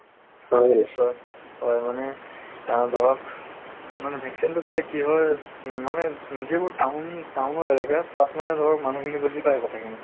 হয় নিশ্চয় হয় মানে আহ ধৰক মানে vaccine টো দিলে কি হয় মানে যিবোৰ town town ৰ এলেকাত তাত মানে ধৰক মানুহ খিনি বুজি পায় কথা খিনি